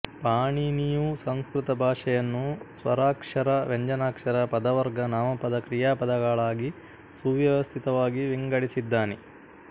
ಪಾಣೀನಿಯೂ ಸಂಸ್ಕ್ರುತ ಭಾಶೆಯನ್ನು ಸ್ವರಾಕ್ಶರ ವ್ಯಂಜನಾಕ್ಶರ ಪದವರ್ಗ ನಾಮಪದ ಕ್ರಿಯಾಪದಗಳಾಗಿ ಸುವ್ಯವಸ್ತಿತವಾಗಿ ವಿಂಗದಿಸಿದ್ದಾನೆ